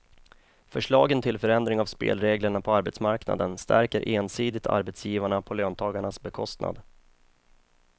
Förslagen till förändring av spelreglerna på arbetsmarknaden stärker ensidigt arbetsgivarna på löntagarnas bekostnad.